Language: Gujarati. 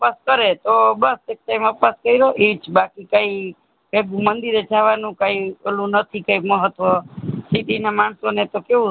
ઉપવાસ કરે તો બસ એક time ઉપવાસ કયરો એજ બાકી કાય એ મંદીર જવા નું કાય ઓલું નથી મહત્ત્વ city ના માણસો કેવું